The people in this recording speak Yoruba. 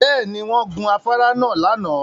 Bẹ́ẹ̀ ni, wọ́n gun afárá náà lánàá